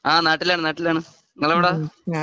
ഹാ നാട്ടിലാണ് നാട്ടിലാണ് നിങ്ങൾ എവിടാ